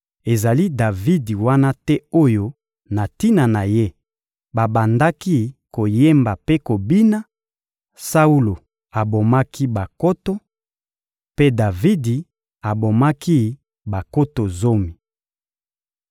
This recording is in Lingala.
Ezali Davidi wana te oyo na tina na ye babandaki koyemba mpe kobina: «Saulo abomaki bankoto, mpe Davidi abomaki bankoto zomi.»